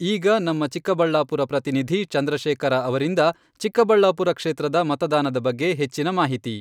ಈಗ ನಮ್ಮ ಚಿಕ್ಕಬಳ್ಳಾಪುರ ಪ್ರತಿನಿಧಿ ಚಂದ್ರಶೇಖರ ಅವರಿಂದ ಚಿಕ್ಕಬಳ್ಳಾಪುರ ಕ್ಷೇತ್ರದ ಮತದಾನದ ಬಗ್ಗೆ ಹೆಚ್ಚಿನ ಮಾಹಿತಿ.